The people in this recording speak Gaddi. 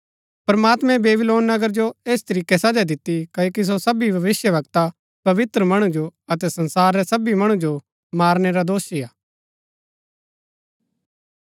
प्रमात्मैं बेबीलोन नगर जो ऐस तरीकै सजा दिती क्ओकि सो सबी भविष्‍यवक्ता पवित्र मणु जो अतै संसार रै सबी मणु जो मारनै रा दोषी हा